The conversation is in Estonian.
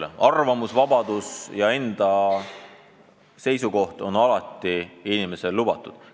Meil on arvamusvabadus ja enda seisukoht on inimesele alati lubatud.